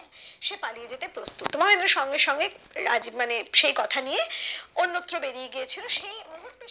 সে পালিয়ে যেতে প্রস্তুত সঙ্গে সঙ্গে রাজ্ মানে সেই কথা নিয়ে অন্যত্র বেরিয়ে গিয়েছিলো সেই মুহূর্তে